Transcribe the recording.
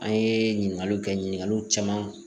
An ye ɲininkaliw kɛ ɲininkaliw caman